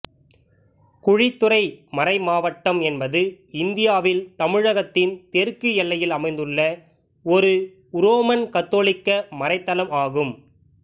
குழித்துறை மறைமாவட்டம் என்பது இந்தியாவில் தமிழகத்தின் தெற்கு எல்லையில் அமைந்துள்ள ஒரு உரோமன் கத்தோலிக்க மறைத்தளம் ஆகும்